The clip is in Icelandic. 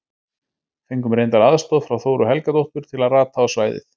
Fengum reyndar aðstoð frá Þóru Helgadóttur til að rata á svæðið.